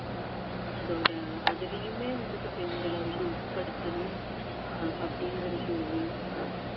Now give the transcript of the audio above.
அதோட அதுலயுமே வந்துட்டு பெண்களை வந்து உட்படுத்தணும் அஹ் அப்படிங்குறது ஒரு வேண்டுகோள்